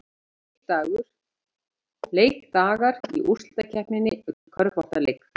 Leikdagar í úrslitakeppninni í körfuknattleik